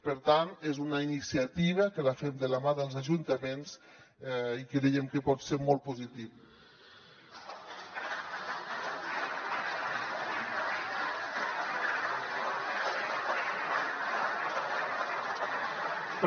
per tant és una iniciativa que la fem de la mà dels ajuntaments i creiem que pot ser molt positiva